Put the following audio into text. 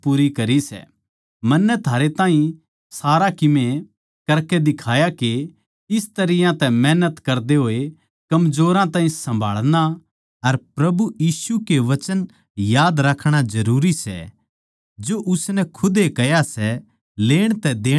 मन्नै थारै ताहीं सारया कीमे करकै दिखाया के इस तरियां तै मेहनत करदे होए कमजोरां ताहीं सम्भालणा अर प्रभु यीशु के वचन याद राखणा जरूरी सै जो उसनै खुदे कह्या सै लेण तै देणा धन्य सै